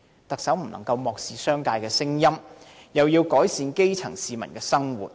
特首不能漠視商界聲音，又要改善基層市民生活。